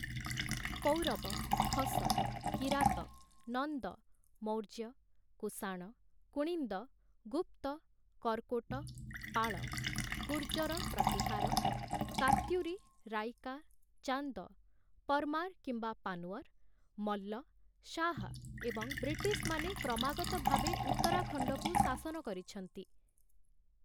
ପୌରବ, ଖସ, କିରାତ, ନନ୍ଦ, ମୌର୍ଯ୍ୟ, କୁଷାଣ, କୁଣିନ୍ଦ, ଗୁପ୍ତ, କର୍‌କୋଟ, ପାଳ, ଗୁର୍ଜର-ପ୍ରତିହାର, କାତ୍ୟୁରୀ, ରାଇକା, ଚାନ୍ଦ, ପର୍‌ମାର୍‌ କିମ୍ବା ପାନ୍ୱର୍‌, ମଲ୍ଲ, ଶାହ, ଏବଂ ବ୍ରିଟିଶମାନେ କ୍ରମାଗତଭାବେ ଉତ୍ତରାଖଣ୍ଡକୁ ଶାସନ କରିଛନ୍ତି ।